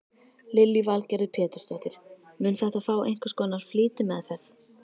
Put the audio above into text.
Lillý Valgerður Pétursdóttir: Mun þetta fá einhvers konar flýtimeðferð?